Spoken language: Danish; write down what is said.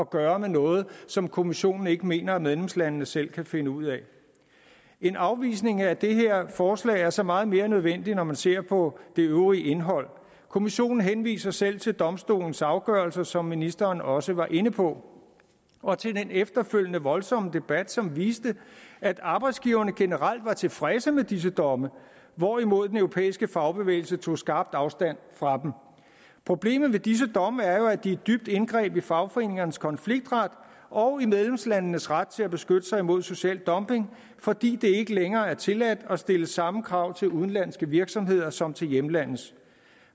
gøre med noget som kommissionen ikke mener at medlemslandene selv kan finde ud af en afvisning af det her forslag er så meget mere nødvendigt når man ser på det øvrige indhold kommissionen henviser selv til domstolens afgørelser som ministeren også var inde på og til den efterfølgende voldsomme debat som viste at arbejdsgiverne generelt var tilfredse med disse domme hvorimod den europæiske fagbevægelse tog skarpt afstand fra dem problemet med disse domme er jo at de er et dybt indgreb i fagforeningernes konfliktret og i medlemslandenes ret til at beskytte sig imod social dumping fordi det ikke længere er tilladt at stille samme krav til udenlandske virksomheder som til hjemlandets